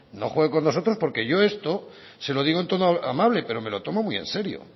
no juegue con nosotros porque yo esto se lo digo en tono amable pero me lo tomo muy en serio